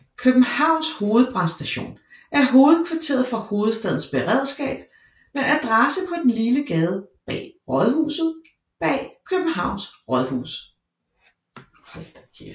Københavns Hovedbrandstation er hovedkvarteret for Hovedstadens Beredskab med adresse på den lille gade Bag Rådhuset bag Københavns Rådhus